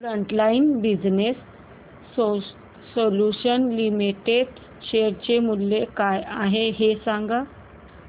frontline business solutions limited share चे मूल्य काय आहे हे सांगा